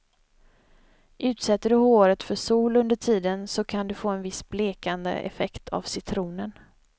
Utsätter du håret för sol under tiden så kan du få en viss blekande effekt av citronen.